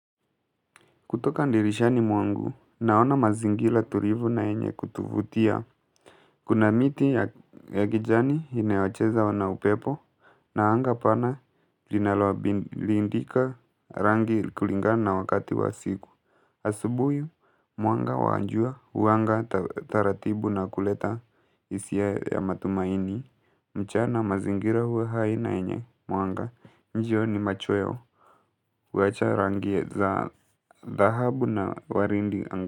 Kutoka ndirishani mwangu, naona mazingila tulivu na yenye kutuvutia. Kuna miti ya kijani inayocheza wa na upepo, na anga pana linaloabilidika rangi kulingana na wakati wa siku. Asubuhi, mwanga wa njua, huwanga taratibu na kuleta hisia ya matumaini. Mchana mazingira huwa hai na yenye mwanga, njioni machweo wajarangia zahabuna warinding angka.